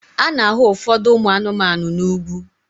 A na-ahụ ụfọdụ ụmụ anụmanụ n'ugwu